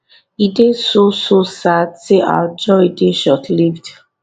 e dey so so sad say our joy dey shortlived